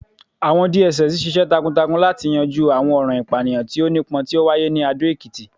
àwọn DSS ṣiṣẹ takuntakun lati yanju awọn ọran ipaniyan ti o nipọn ti o waye ni Ado Ekiti